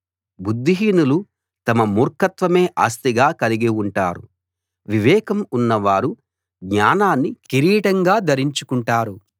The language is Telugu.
బుద్ధిహీనులు తమ మూర్ఖత్వమే ఆస్తిగా కలిగి ఉంటారు వివేకం ఉన్నవారు జ్ఞానాన్ని కిరీటంగా ధరించుకుంటారు